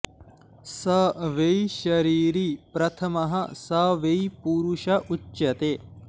स वै शरीरी प्रथमः स वै पुरुष उच्यते